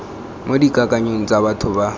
mo dikakanyong tsa batho ba